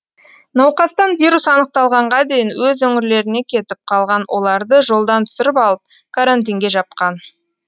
науқастан вирус анықталғанға дейін өз өңірлеріне кетіп қалған оларды жолдан түсіріп алып карантинге жапқан